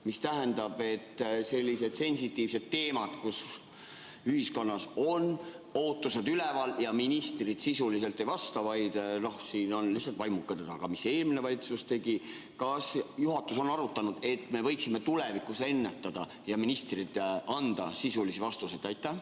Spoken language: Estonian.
Kui on sellised sensitiivsed teemad, kus ühiskonnas on ootused üleval, aga ministrid sisuliselt ei vasta, vaid on siin lihtsalt vaimukad ja räägivad sellest, mis eelmine valitsus tegi, siis kas juhatus on arutanud, et me võiksime tulevikus seda ennetada ja ministrid võiksid anda sisulisi vastuseid?